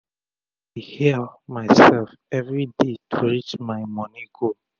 i dey hail mysef everi day to reach my moni goal